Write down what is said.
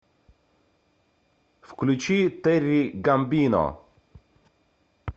включи терри гамбино